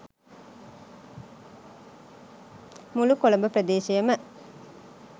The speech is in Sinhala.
මුළු කොළඹ ප්‍රදේශයම